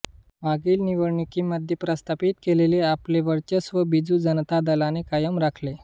मागील निवडणुकीमध्ये प्रस्थापित केलेले आपले वर्चस्व बिजू जनता दलाने कायम राखले